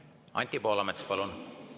Anti Poolamets, palun!